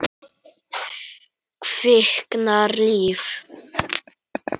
Kviknar líf.